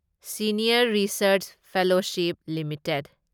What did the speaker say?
senior research fellowship limited